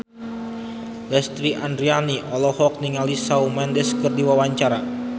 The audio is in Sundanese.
Lesti Andryani olohok ningali Shawn Mendes keur diwawancara